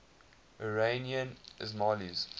iranian ismailis